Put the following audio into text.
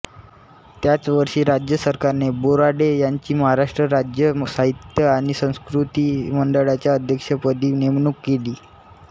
त्याच वर्षी राज्य सरकारने बोराडे यांची महाराष्ट्र राज्य साहित्य आणि संस्कृती मंडळाच्या अध्यक्षपदी नेमणूक केली